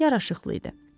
Yaraşıqlı idi.